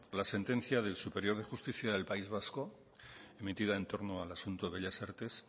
la sentencia del tribunal superior de justicia del país vasco metida en torno al asunto bellas artes